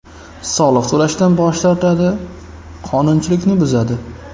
Soliq to‘lashdan bosh tortadi, qonuchilikni buzadi.